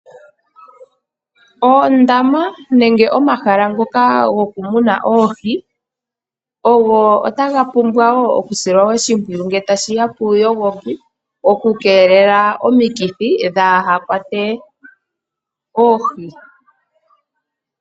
Oondama nenge omahala ngoka goku muna Oohi ogo otaga pumbwa wo oku silwa oshimpwiyu, nge tashiya puuyogoki okukeelela omikithi dhaahakwate oohi.